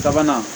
Sabanan